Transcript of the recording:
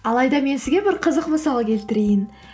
алайда мен сізге бір қызық мысал келтірейін